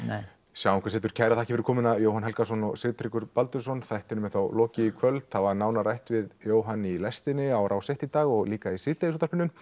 sjáum hvað setur kærar þakkir fyrir komuna Jóhann Helgason og Sigtryggur Baldursson þættinum er þá lokið í kvöld það var nánar rætt við Jóhann í lestinni á Rás eitt í dag og líka í Síðdegisútvarpinu